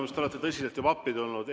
Minu arust olete tõsiselt juba appi tulnud.